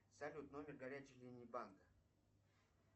салют номер горячей линии банка